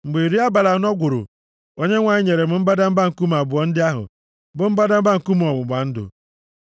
Mgbe iri abalị anọ gwụrụ Onyenwe anyị nyere m mbadamba nkume abụọ ndị ahụ, bụ mbadamba nkume ọgbụgba ndụ.